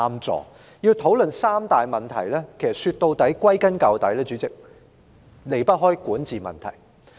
主席，要討論這三大問題，歸根究底，也離不開管治問題。